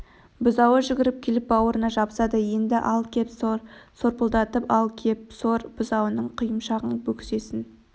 бұзауы жүгіріп келіп бауырына жабысады енді ал кеп сор сорпылдатып ал кеп сор бұзауының құйымшағын бөксесін